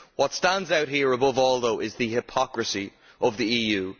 What stands out here above all, though, is the hypocrisy of the EU.